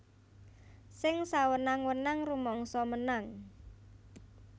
Sing sawenang wenang rumangsa menang